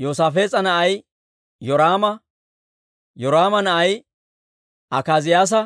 Yoosaafees'a na'ay Yoraama; Yoraama na'ay Akaaziyaasa;